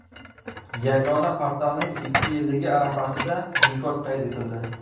Yagona portalning ikki yilligi arafasida rekord qayd etildi.